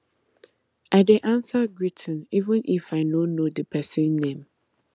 i dey answer greeting even if even if i no know the person name